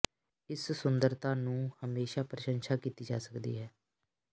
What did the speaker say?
ਇਸ ਸੁੰਦਰਤਾ ਨੂੰ ਹਮੇਸ਼ਾ ਪ੍ਰਸ਼ੰਸਾ ਕੀਤੀ ਜਾ ਸਕਦੀ ਹੈ